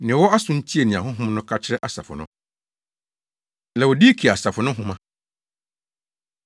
Nea ɔwɔ aso no ntie nea Honhom no ka kyerɛ asafo no. Laodikea Asafo No Nhoma